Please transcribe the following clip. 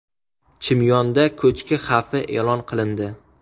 Chimyonda ko‘chki xavfi e’lon qilindi.